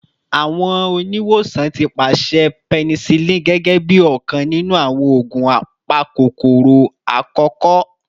Awọn oniwosan ti paṣẹ penicillin gẹgẹbi ọkan ninu awọn oogun apakokoro akọkọ